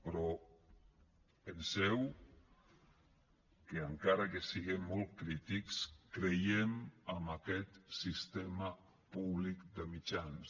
però penseu que encara que siguem molt crítics creiem en aquest sistema públic de mitjans